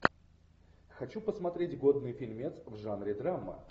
хочу посмотреть годный фильмец в жанре драма